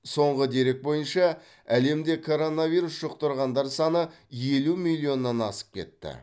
соңғы дерек бойынша әлемде коронавирус жұқтырғандар саны елу миллионнан асып кетті